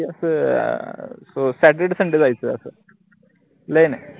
अस saturdaysunday जायचं अस plan ए